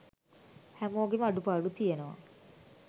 හැමෝගෙම අඩුපාඩු තියනව